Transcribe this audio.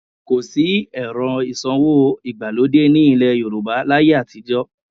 Kò sí ẹ̀rọ ìsanwó ìgbàlódé ní ilẹ̀ Yorùbá láyé àtijọ́